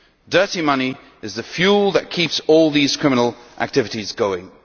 Dirty money is the fuel that keeps all these criminal activities going.